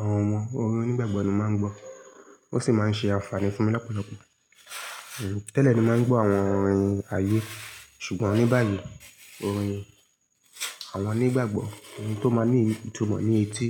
àwọn ọmọ, orin onígbàgbọ́ ni mà ń gbọ́. Ó sì máa ń ṣe àǹfààní fún mi lọ́pọ̀lọpọ̀. Tẹ́lẹ̀ ni mà ń gbọ́ àwọn orin ayé ṣùgbọ́n ní báyìí, orin àwọn onígbàgbọ́, eyi tó máa ní ìtumọ̀ ní etí.